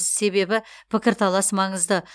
себебі пікірталас маңызды